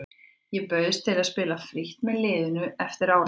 Ég bauðst til að spila frítt með liðinu eftir áramót.